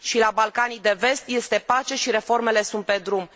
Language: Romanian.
Și în Balcanii de Vest este pace, iar reformele sunt pe drum.